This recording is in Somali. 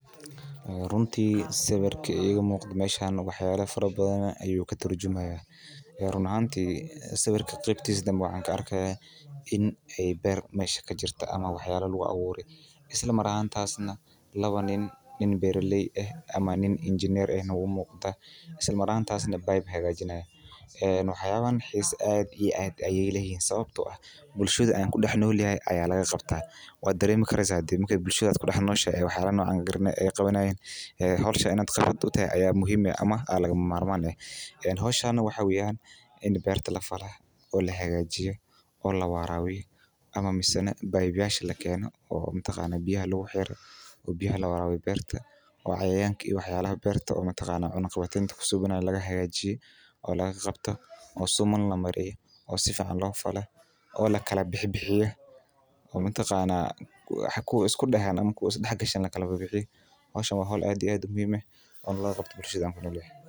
Runti sawirka muqdo wayala fara badan ayu iga turjumaya waxan arki haya in ee mesha beer kutalo lawadhan nina ee beerta haga junayan run ahanti bulshaaden aad ayey loga istimali jire marka un cayayanka laga bufiyo in wasaqa laga aruriyo in lafalo in biya lawarwirlyo run aahanti bulshadena aad ayey ogu ficned in aa wax ka qabto wana wax u bahan Ini wa laga qabto.